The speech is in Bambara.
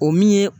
O min ye